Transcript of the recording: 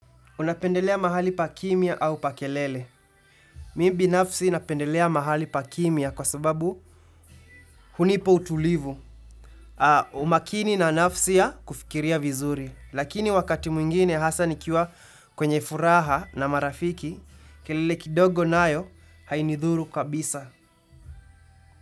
Unapendelea mahali pa kimia au pa kelele. Mimi binafsi napendelea mahali pa kimia kwa sababu hunipa utulivu. Umakini na nafsi ya kufikiria vizuri. Lakini wakati mwingine hasa nikiwa kwenye furaha na marafiki, kelele kidogo nayo hainithuru kabisa.